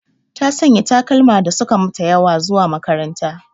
Ta Sanya takalma da suka mata ƴawa zuwa makaranta.